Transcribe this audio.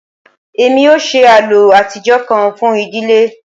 Emi o ṣe àlọ́ atijọ kan fun idile